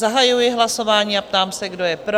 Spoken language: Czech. Zahajuji hlasování a ptám se, kdo je pro?